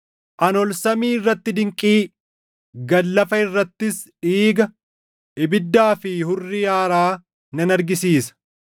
Ani ol samii irratti dinqii, gad lafa irrattis dhiiga, ibiddaa fi hurrii aaraa nan argisiisa.